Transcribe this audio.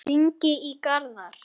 Það ríkti mikil spenna.